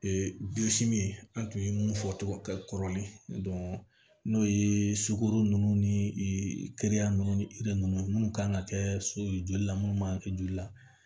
Ee an tun ye mun fɔ togo kɛ kɔrɔlen n'o ye sukoro ninnu kɛya ninnu ni ninnu minnu kan ka kɛ so ye joli la munnu man kɛ joli la